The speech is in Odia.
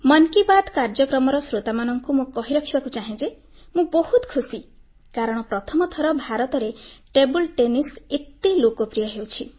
ମନ୍ କି ବାତ୍ କାର୍ଯ୍ୟକ୍ରମର ଶ୍ରୋତାମାନଙ୍କୁ ମୁଁ କହିବାକୁ ଚାହେଁ ଯେ ମୁଁ ବହୁତ ଖୁସି କାରଣ ପ୍ରଥମ ଥର ଭାରତରେ ଟେବୁଲ ଟେନିସ ଏତେ ଲୋକପ୍ରିୟ ହେଉଛି